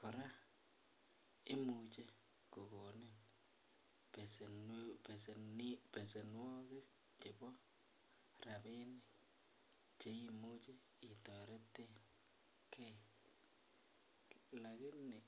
kora imuche kogonin besenwogik chebo rabinik Che imuche itoreton ge